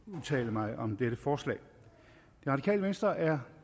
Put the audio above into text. udtale mig om dette forslag det radikale venstre er